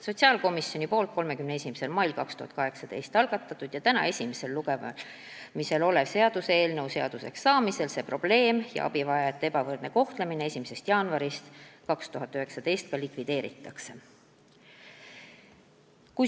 Sotsiaalkomisjoni poolt 31. mail 2018 algatatud ja täna esimesel lugemisel oleva seaduseelnõu seaduseks saamisel see probleem kaob ja abivajajate ebavõrdne kohtlemine 1. jaanuaril 2019 lõpeb.